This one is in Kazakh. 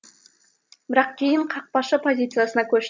бірақ кейін қақпашы позициясына көш